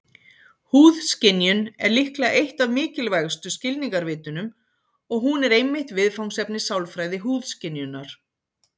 Húðskynjun er líklega eitt af mikilvægustu skilningarvitunum, og hún er einmitt viðfangsefni sálfræði húðskynjunar.